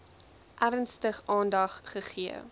ernstig aandag gegee